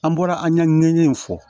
An bɔra an ɲɛ in fɔ